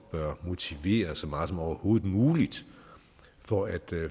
bør motivere så meget som overhovedet muligt for at